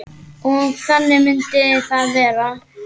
Og þannig myndi það vera.